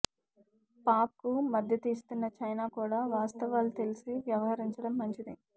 పాక్కు మద్దతు ఇస్తున్న చైనా కూడా వాస్తవాలు తెలిసి వ్యవహరించడం మంచిది